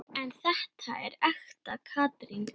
En þetta er ekta Katrín.